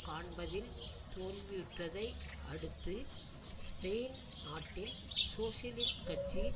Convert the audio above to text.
காண்பதில் தோல்வியுற்றதை அடுத்து ஸ்பெயின் நாட்டின் சோசியலிஸ்ட் கட்சி